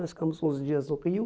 Nós ficamos uns dias no Rio.